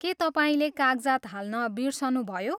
के तपाईँले कागजात हाल्न बिर्सनुभयो?